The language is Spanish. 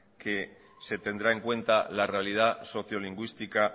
que se tendrá en cuenta la realidad socio lingüística